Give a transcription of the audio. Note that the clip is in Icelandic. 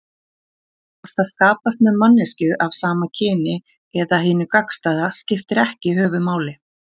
Hvort það skapast með manneskju af sama kyni eða hinu gagnstæða skiptir ekki höfuðmáli.